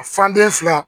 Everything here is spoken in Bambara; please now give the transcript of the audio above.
Fande fila